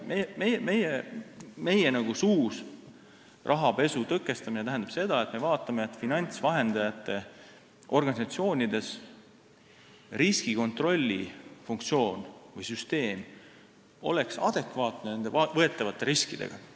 Meie jaoks tähendab rahapesu tõkestamine seda, et me vaatame, kas finantsvahendajate organisatsioonides riskikontrolli funktsioon või süsteem on adekvaatne nende võetavate riskidega.